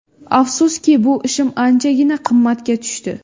Afsuski, bu ishim anchagina qimmatga tushdi.